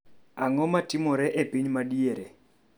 ang'o matimore e piny madier